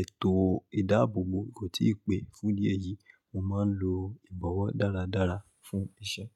ètò ìdáàbòbò kò tíì pé. Fún díẹ̀ yìí, mo máa ń lo ìbọ̀wọ́ dáradára fún iṣẹ́.